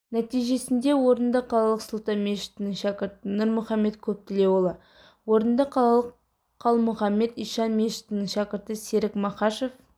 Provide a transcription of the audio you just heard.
нәтижесінде орынды қалалық сұлтан мешітінің шәкірті нұрмұхаммед көптілеуұлы орынды қалалық қалмұхаммед ишан мешітінің шәкірті серік махашов